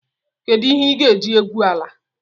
Kedụ ihe ị ga-eji egwu ala?